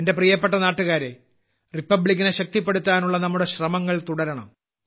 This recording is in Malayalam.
എന്റെ പ്രിയപ്പെട്ട നാട്ടുകാരേ റിപ്പബ്ലിക്കിനെ ശക്തിപ്പെടുത്താനുള്ള നമ്മുടെ ശ്രമങ്ങൾ തുടരണം